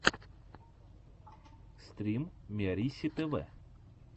стрим миарисситв